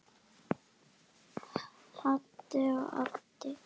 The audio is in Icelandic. Haddi og Addi.